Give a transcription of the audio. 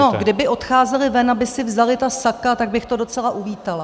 No, kdyby odcházeli ven, aby si vzali ta saka, tak bych to docela uvítala.